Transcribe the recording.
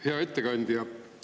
Hea ettekandja!